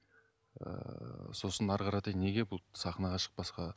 ыыы сосын әрі қаратай неге бұл сахнаға шықпасқа